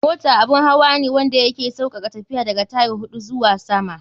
Mota abun hawa ne wanda ya ke saukaka tafiya, da ga tyre huɗu zuwa sama.